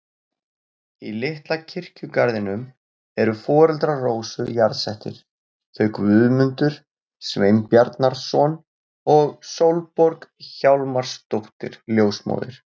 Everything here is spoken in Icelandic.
Í litla kirkjugarðinum eru foreldrar Rósu jarðsettir, þau Guðmundur Sveinbjarnarson og Sólborg Hjálmarsdóttir ljósmóðir.